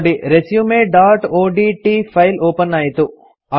ನೋಡಿ resumeಒಡಿಟಿ file open ಆಯಿತು